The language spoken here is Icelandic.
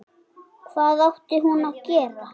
Hvað átti hún að gera?